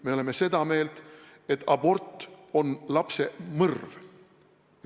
Me oleme seda meelt, et abort on lapse mõrv.